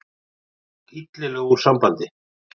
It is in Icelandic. Hann hrökk illilega úr sambandi.